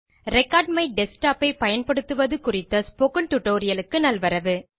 record my desktop ஐ பயன்படுத்துவது குறித்த டியூட்டோரியல் க்கு நல்வரவு